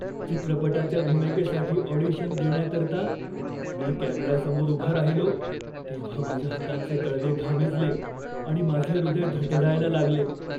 चित्रपटाच्या भूमिकेसाठी ऑडिशन देण्याकरता मी कॅमेऱ्यासमोर उभा राहिलो तेव्हा माझ्या हातांचे तळवे घामेजले आणि माझे हृदय धडधडायला लागले.